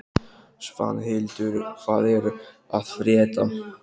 Svanhildur, hvað er að frétta?